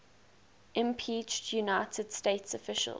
impeached united states officials